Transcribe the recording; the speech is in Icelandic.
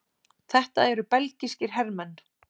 Þetta eru belgískir hermenn.